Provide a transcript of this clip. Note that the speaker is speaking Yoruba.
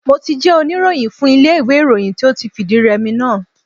Mo ti jẹ́ oníròyìn fún ilé iwe ìròyìn tí ó ti fìdí rẹ'mi náà.